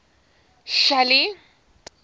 shelly